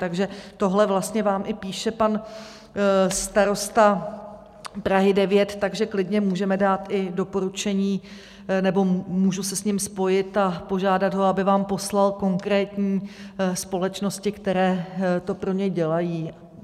Takže tohle vlastně vám i píše pan starosta Prahy 9, takže klidně můžeme dát i doporučení nebo můžu se s ním spojit a požádat ho, aby vám poslal konkrétní společnosti, které to pro ně dělají.